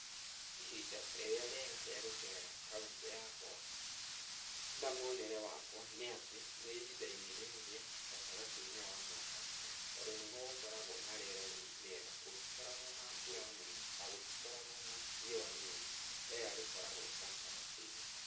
Ihinda rĩrĩa rĩega rĩa gũceera kaũntĩ yakwa, na mwonere wakwa nĩ atĩ nĩ ihinda-inĩ rĩrĩ rĩa gatagatĩ-inĩ wa mwaka tondũ nĩguo gũkoragũo na rĩera rĩ rĩega, gũtikoragũo na mbura nene na gũtikoragũo na rĩũwa rĩnene, rĩera rĩkoragwo gatagatĩ-inĩ.